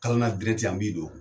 Kalan derɛti an b'i don.